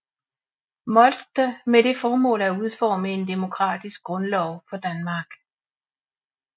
Moltke med det formål at udforme en demokratisk grundlov for Danmark